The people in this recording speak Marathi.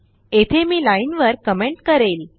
येथे मीलाईनवर कमेंट करेल